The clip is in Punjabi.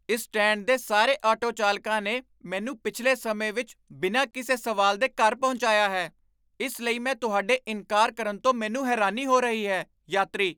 ਇਸ ਸਟੈਂਡ ਦੇ ਸਾਰੇ ਆਟੋ ਚਾਲਕਾਂ ਨੇ ਮੈਨੂੰ ਪਿਛਲੇ ਸਮੇਂ ਵਿੱਚ ਬਿਨਾਂ ਕਿਸੇ ਸਵਾਲ ਦੇ ਘਰ ਪਹੁੰਚਾਇਆ ਹੈ, ਇਸ ਲਈ ਮੈਂ ਤੁਹਾਡੇ ਇਨਕਾਰ ਕਰਨ ਤੋਂ ਮੈਨੂੰ ਹੈਰਾਨੀ ਹੋ ਰਹੀ ਹੈ! ਯਾਤਰੀ